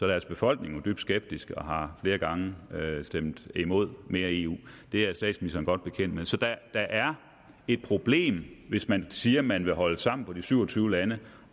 deres befolkning dybt skeptisk og har flere gange stemt imod mere eu det er statsministeren godt bekendt med så der er et problem hvis man siger at man vil holde sammen på de syv og tyve lande